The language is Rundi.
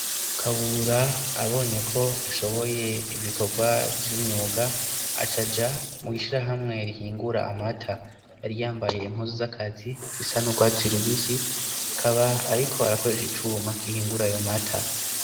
Kabura abonye ko ashoboye ibikorwa vy'umyuga acaja mw'ishirahamwe rihingura amata. Yari yambaye impuzu z'akazi zisa n'urwatsi rubisi, akaba ariko arakoresha icuma gihingura ayo mata.